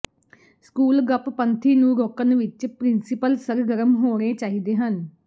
school ਗੱਪਪੰਥੀ ਨੂੰ ਰੋਕਣ ਵਿਚ ਪ੍ਰਿੰਸੀਪਲ ਸਰਗਰਮ ਹੋਣੇ ਚਾਹੀਦੇ ਹਨ